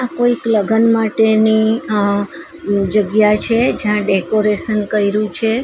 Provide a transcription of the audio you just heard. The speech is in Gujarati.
કોઈક લગન માટેની અહ જગ્યા છે જ્યાં ડેકોરેશન કયરુ છે.